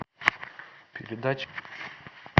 передача